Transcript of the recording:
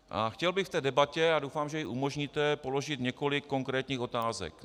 A chtěl bych v té debatě, a doufám, že ji umožníte, položit několik konkrétních otázek.